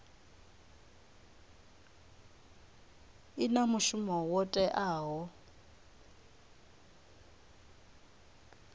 i na mushumo wo teaho